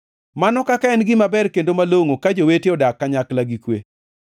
Mano kaka en gima ber kendo malongʼo, ka jowete odak kanyakla gi kwe!